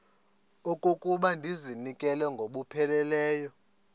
okokuba ndizinikele ngokupheleleyo